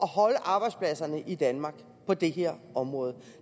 holde arbejdspladserne i danmark på det her område